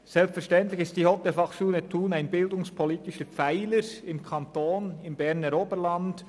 Selbstverständlich ist die Hotelfachschule Thun ein bildungspolitischer Pfeiler im Kanton und im Berner Oberland.